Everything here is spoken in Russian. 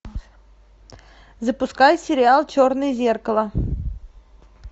запускай сериал черное зеркало